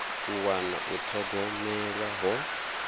u wana u thogomelwa ho